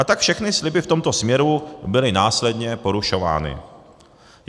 A tak všechny sliby v tomto směru byly následně porušovány.